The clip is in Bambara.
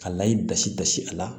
Ka layi basi basi a la